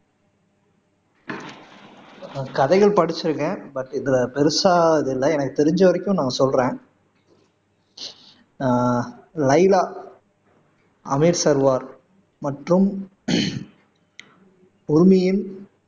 நான் கதைகள் படிச்சிருக்கேன் பட் இதுல பெருசா இதில்ல எனக்கு தெரிஞ்ச வரைக்கும் நான் சொல்றேன் ஆஹ் லைலா அமீர் சர்வார் மற்றும்